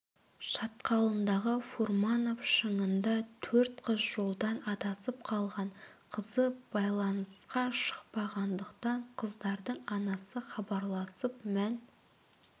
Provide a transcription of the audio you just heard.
шатқалындағы фурманов шыңында төрт қыз жолдан адасып қалған қызы байланысқа шықпағандықтан қыздардың анасы хабарласып мән